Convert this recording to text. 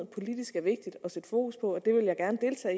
politisk er vigtigt at sætte fokus på det